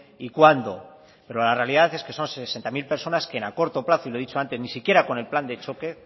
y cuándo pero la realidad es que son sesenta mil personas que en a corto plazo y lo he dicho antes ni siquiera con el plan de choque